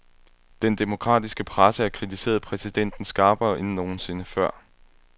Den demokratiske presse har kritiseret præsidenten skarpere end nogen sinde før.